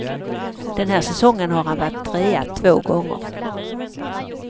Den här säsongen har han varit trea två gånger.